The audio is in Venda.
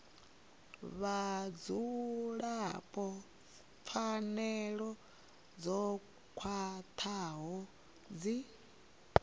vhadzulapo pfanelo dzo khwathaho dzi